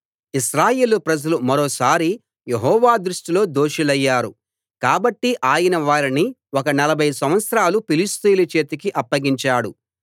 ఇశ్రాయేలు ప్రజలు మరోసారి యెహోవా దృష్టిలో దోషులయ్యారు కాబట్టి ఆయన వారిని ఒక నలభై సంవత్సరాలు ఫిలిష్తీయుల చేతికి అప్పగించాడు